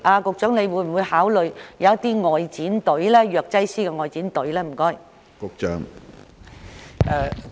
局長會否考慮為長者成立藥劑師外展服務隊？